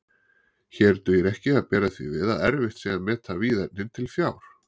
Hér dugir ekki að bera því við að erfitt sé að meta víðernin til fjár.